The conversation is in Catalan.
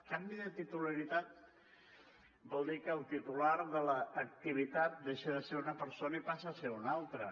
canvi de titularitat vol dir que el titular de l’activitat deixa de ser una persona i passa a ser ne una altra